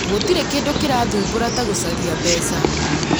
Gũtirĩ kĩndũ kĩrathumbũra ta gũcaria mbeca